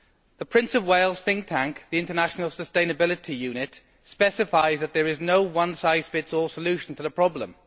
The Prince of Wales' think tank, the International Sustainability Unit, specifies that there is no one size fits all solution to the problem.